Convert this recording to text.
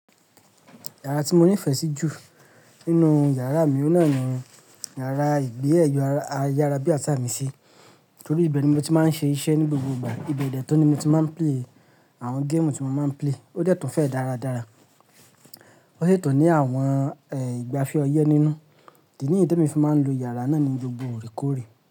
Yàrá tí mo nífẹ̀ẹ́ sí jù nínú yàrá mi ò náà ni yàrá ìgbé ẹ̀yọ̀ ayárábiàsà mi sí, torí ibe ni mo ti máa ń ṣe iṣẹ́ ní gbogbo ìgbà. Ibẹ̀ de tun ni mo ti máa ń play àwọn géèmù tí mo máa ń play. Ó dẹ́ tun fẹ́ dáradára. Ó sì tun ní àwọn, ẹ́, ìgbafẹ́ ọyẹ́ nínú. Idi niyen te mi fi máa ń lo yàrá náà ni gbogbo òre koòrè.